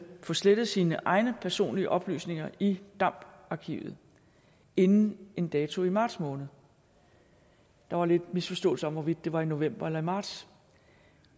få slettet sine egne personlige oplysninger i damd arkivet inden en dato i marts måned der var lidt misforståelse om hvorvidt det var i november eller i marts